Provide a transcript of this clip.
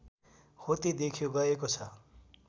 होते देख्यो गएको छ